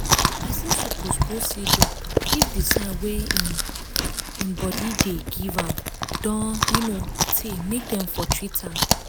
person suppose go see doctor if the sign wey im um body dey give am don um tey make dem for treat am